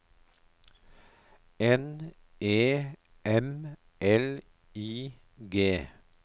N E M L I G